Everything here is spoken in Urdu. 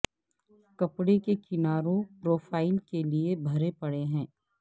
کپڑے کے کناروں پروفائل کے لئے بھرے پڑے ہیں